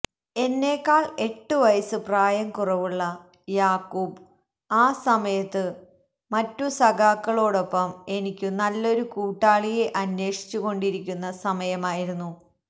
എന്നെക്കാള് എട്ടുവയസ്സ് പ്രായം കുറവുള്ള യാക്കൂബ് ആ സമയത്തു മറ്റു സഖാക്കളോടൊപ്പം എനിക്കു നല്ലൊരു കൂട്ടാളിയെ അന്വേഷിച്ചുകൊണ്ടിരിക്കുന്ന സമയമായിരുന്നു